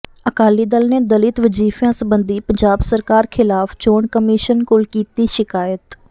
ਅਕਾਲੀ ਦਲ ਨੇ ਦਲਿਤ ਵਜ਼ੀਫਿਆਂ ਸੰਬੰਧੀ ਪੰਜਾਬ ਸਰਕਾਰ ਖ਼ਿਲਾਫ ਚੋਣ ਕਮਿਸ਼ਨ ਕੋਲ ਕੀਤੀ ਸ਼ਿਕਾਇਤ